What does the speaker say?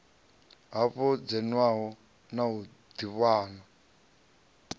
faho dzimvalo na u ḓivhana